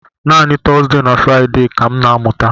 Naanị Tọzdee na Fraịde ka m na-amụta.